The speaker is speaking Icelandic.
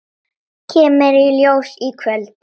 Kemur í ljós í kvöld.